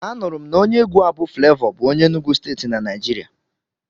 Anụrụ m na onye egwu a bụ Flevọ bụ onye Enugwu Steeti na Naijiria.